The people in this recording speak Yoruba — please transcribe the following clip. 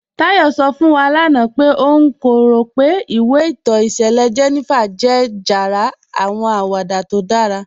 Táyọ̀ sọ̀ fún wà lána pé ọ̀n kò rọ̀ pé ìwé ìtọ́ ìṣẹ̀lẹ̀ 'Jenifa' jẹ́ jàrá àwọn àwàdà tó dára.